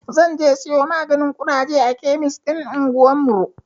Zan je siyo maganin ƙuraje a kemis ɗin anguwarmu.